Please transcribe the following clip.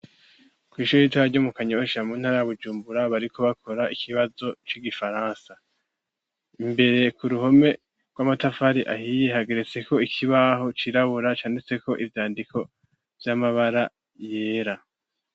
Kw'ishure ritoya ryo mu Kanyosha mu ntara ya Bujumbura bariko bakora ikibazo c'igifaransa. Imbere ku ruhome rw'amatafari ahiye hageretseko ikibaho cirabura canditseko ivyandiko vy'amabara yera.